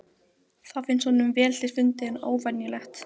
Það finnst honum vel til fundið en óvenjulegt.